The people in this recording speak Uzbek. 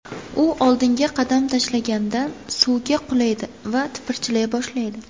U oldinga qadam tashlaganda suvga qulaydi va tipirchilay boshlaydi.